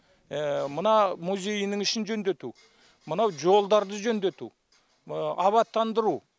мына музейінің ішін жөндету мынау жолдарды жөндету абаттандыру